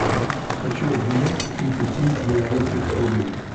хочу обменять тридцать семь белорусских рублей